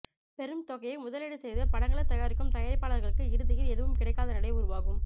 பெரும் தொகையை முதலீடு செய்து படங்களை தயாரிக்கும் தயாரிப்பாளர்களுக்கு இறுதியில் எதுவும் கிடைக்காத நிலை உருவாகும்